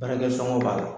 Baarakɛ sɔngɔn b'a la